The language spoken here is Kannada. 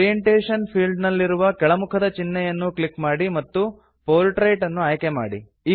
ಓರಿಯಂಟೇಶನ್ ಫೀಲ್ಡ್ ನಲ್ಲಿರುವ ಕೆಳಮುಖದ ಚಿನ್ಹೆಯನ್ನು ಕ್ಲಿಕ್ ಮಾಡಿ ಮತ್ತು ಪೋರ್ಟ್ರೇಟ್ ಅನ್ನು ಆಯ್ಕೆ ಮಾಡಿ